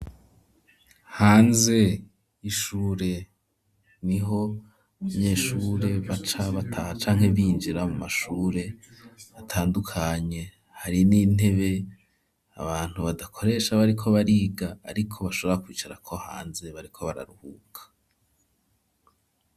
Hanze y'ishure niho abanyeshure baca bataha canke binjira mu mashure atandukanye ,hari n'intebe abantu badakoresha bariko bariga ariko bashobora kwicarako hanze bariko bararuhuka.